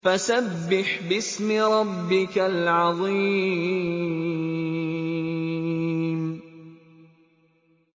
فَسَبِّحْ بِاسْمِ رَبِّكَ الْعَظِيمِ